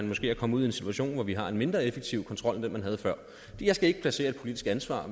måske er kommet ud i en situation hvor vi har en mindre effektiv kontrol end den man havde før jeg skal ikke placere et politisk ansvar